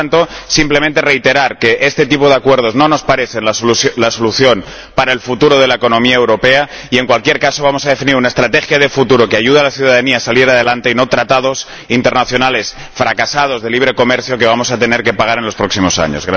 Por lo tanto, simplemente reiterar que este tipo de acuerdos no nos parece la solución para el futuro de la economía europea y, en cualquier caso, vamos a definir una estrategia de futuro que ayude a la ciudadanía a salir adelante y no tratados internacionales fracasados de libre comercio que vamos a tener que pagar en los próximos años.